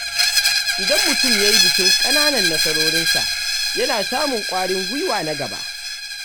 Idan mutum ya yi bikin ƙananan nasarorinsa, yana samun ƙwarin gwiwa na gaba.